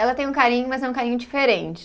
Ela tem um carinho, mas é um carinho diferente.